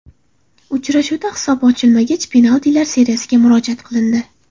Uchrashuvda hisob ochilmagach, penaltilar seriyasiga murojaat qilindi.